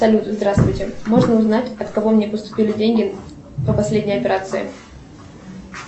салют здравствуйте можно узнать от кого мне поступили деньги по последней операции